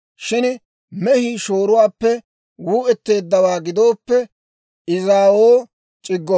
Shin mehii shooruwaappe wuu"etteeddawaa gidooppe, izaawoo c'iggo.